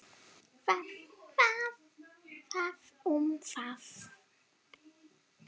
Það um það.